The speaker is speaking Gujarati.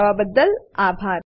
જોડાવાબદ્દલ આભાર